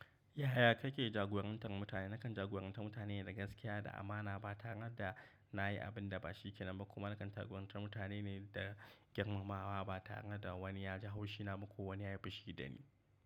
Yaya kake jagorantar mutane? Nakan jagorantar mutane da gaskiya da amana ba tare da na yi abin da ba shi ke nan ba. Kuma nakan jagorantar mutane ne da girmamawa ba tare da wani ya ji haushi na ba ko wani ya yi fushi da ni.